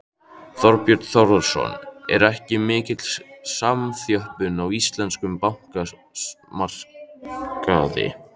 Þorbjörn Þórðarson: Er ekki mikil samþjöppun á íslenskum bankamarkaði?